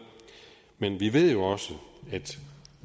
men vi ved jo også at